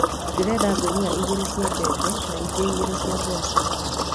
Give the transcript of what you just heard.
Ndĩrenda ngunia igĩrĩ cia mbembe na ingĩ igĩrĩ cia mboco